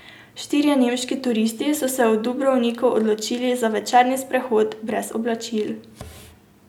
Štirje nemški turisti so se v Dubrovniku odločili za večerni sprehod brez oblačil.